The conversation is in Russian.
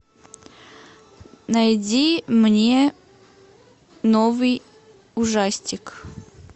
найди мне новый ужастик